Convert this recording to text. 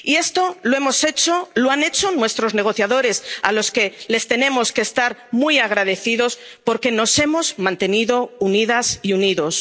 Y esto lo hemos hecho, lo han hecho nuestros negociadores, a los que les tenemos que estar muy agradecidos porque nos hemos mantenido unidas y unidos.